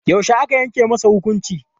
Yaushe aka yanke masa hukunci?